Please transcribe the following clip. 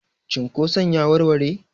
cunkoson ya warware?